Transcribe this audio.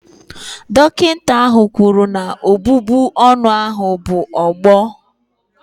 Dọkịta ahụ kwuru na ọbụbụ ọnụ ahụ bụ ọgbọ